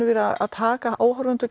að taka áhorfendur